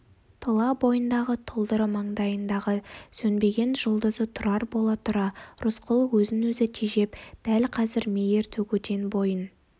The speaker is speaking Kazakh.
тұла бойындағы тұлдыры маңдайындағы сөнбеген жұлдызы тұрар бола тұра рысқұл өзін өзі тежеп дәл қазір мейір төгуден бойын